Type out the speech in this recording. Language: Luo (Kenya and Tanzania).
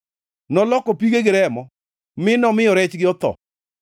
Noloko pigegi remo, mi nomiyo rechgi otho.